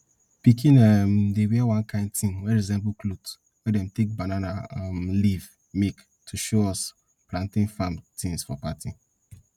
pickin um dey wear one kind thing wey resemble cloth wey dem take banana um leaf make to show us plantain farm tins for party